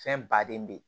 Fɛn baden bɛ yen